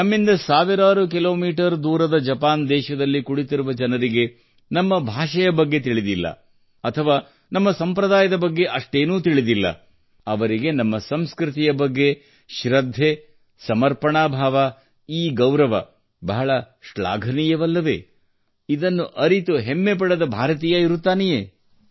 ನಮ್ಮಿಂದ ಸಾವಿರಾರು ಕಿಲೋಮೀಟರ್ ದೂರದ ಜಪಾನ್ ದೇಶದಲ್ಲಿ ಕುಳಿತಿರುವ ಜನರಿಗೆ ನಮ್ಮ ಭಾಷೆಯ ಬಗ್ಗೆ ತಿಳಿದಿಲ್ಲ ಅಥವಾ ನಮ್ಮ ಸಂಪ್ರದಾಯದ ಬಗ್ಗೆ ಅಷ್ಟೇನೂ ತಿಳಿದಿಲ್ಲ ಅವರಿಗೆ ನಮ್ಮ ಸಂಸ್ಕೃತಿಯ ಬಗ್ಗೆ ಅವರಿಗೆ ಶ್ರದ್ಧೆ ಸಮರ್ಪಣಾ ಭಾವ ಈ ಗೌರವ ಬಹಳ ಶ್ಲಾಘನೀಯವಲ್ಲವೇ ಇದನ್ನು ಅರಿತು ಹೆಮ್ಮೆ ಪಡದ ಭಾರತೀಯ ಇರುತ್ತಾನೆಯೇ